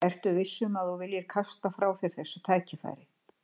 Ertu viss um, að þú viljir kasta frá þér þessu tækifæri?